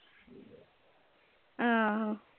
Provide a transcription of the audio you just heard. ਹਮ